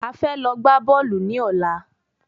A fẹ́ lọ gbá bọ́ọ̀lù ní ọ̀la